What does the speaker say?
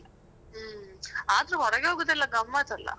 ಹ್ಮ್ಹ್ಮ್ ಹ್ಮ್, ಆದ್ರೂ ಹೊರಗೆ ಹೋಗುದೆಲ್ಲ ಗಮ್ಮತ್ ಅಲ್ಲ.